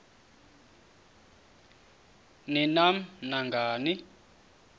ni nam nangani